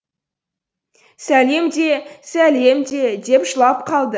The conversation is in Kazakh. сәлем де сәлем де деп жылап қалды